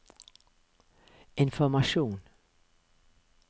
informasjon